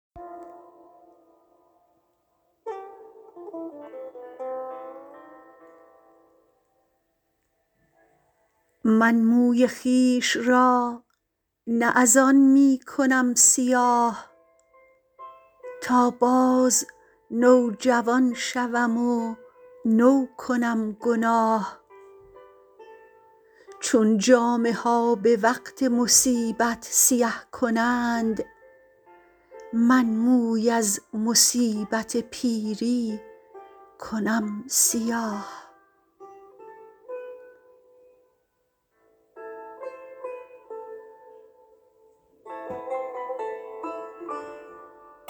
من موی خویش را نه از آن می کنم سیاه تا باز نوجوان شوم و نو کنم گناه چون جامه ها به وقت مصیبت سیه کنند من موی از مصیبت پیری کنم سیاه